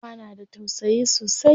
Uwa na da tausayi sosai.